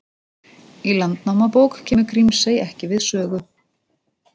Í Landnámabók kemur Grímsey ekki við sögu.